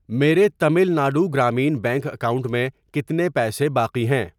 میرے Tamil Nadu Grameen bank account میں کتنے پیسے باقی ہیں؟